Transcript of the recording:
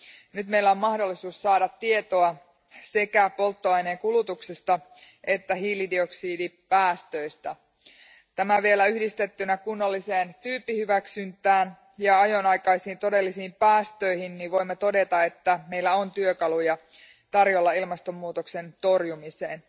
Nyt meillä on mahdollisuus saada tietoa sekä polttoaineen kulutuksesta että hiilidioksidipäästöistä. Kun tämä vielä yhdistetään kunnalliseen tyyppihyväksyntään ja ajonaikaisiin todellisiin päästöihin, voimme todeta, että meillä on työkaluja ilmastonmuutoksen torjumiseen.